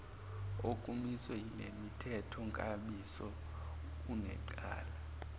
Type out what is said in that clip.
okumiswe yilemithethonkambiso unecala